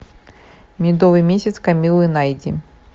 медовый месяц камиллы найди